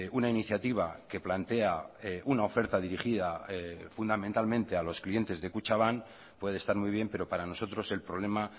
una iniciativa que plantea una oferta dirigida fundamentalmente a los clientes de kutxabank puede estar muy bien pero para nosotros el problema